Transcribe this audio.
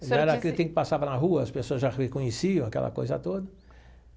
Já era aquele tempo que passava na rua, as pessoas já reconheciam aquela coisa toda.